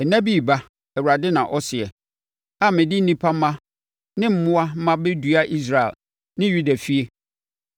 “Nna bi reba,” Awurade na ɔseɛ, “a mede nnipa mma ne mmoa mma bɛdua Israel ne Yuda efie.